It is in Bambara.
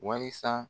Wasa